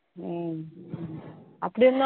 உம் அப்படியிருந்தும் அன்னைக்கு நான்